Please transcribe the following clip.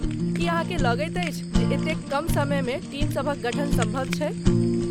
की अहाँकेँ लगैत अछि जे एतेक कम समयमे टीम सभक गठन सम्भव छै?